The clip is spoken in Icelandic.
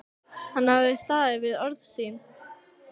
Hann hafði staðið við orð sín.